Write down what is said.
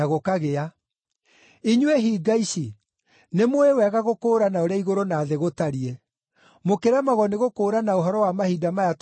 Inyuĩ hinga ici! Nĩmũũĩ wega gũkũũrana ũrĩa igũrũ na thĩ gũtariĩ. Mũkĩremagwo nĩgũkũũrana ũhoro wa mahinda maya tũrĩ nĩkĩ?